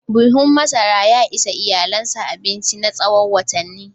Buhun masara ya ishi iyalinsa abinci na tsawon watanni.